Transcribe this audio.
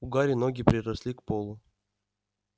у гарри ноги приросли к полу